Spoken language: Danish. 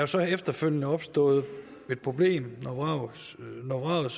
så efterfølgende opstået et problem når vraget